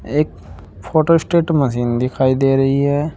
एक photostat machine दिखाई दे रही है।